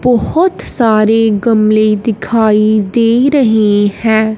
बहोत सारे गमले दिखाई दे रहे है।